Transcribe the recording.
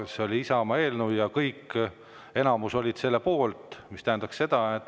See oli Isamaa eelnõu ja enamus oli selle poolt.